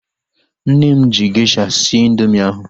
Nne m ji gesha sie indoomị ahu